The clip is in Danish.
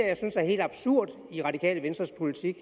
jeg synes er helt absurd i radikale venstres politik